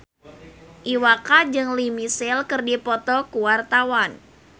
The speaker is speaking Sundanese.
Iwa K jeung Lea Michele keur dipoto ku wartawan